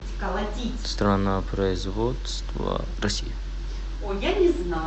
страна производства россия